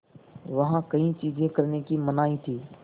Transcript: वहाँ कई चीज़ें करने की मनाही थी